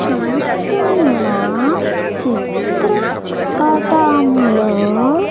చూస్తున్నా చిత్ర పటంలో.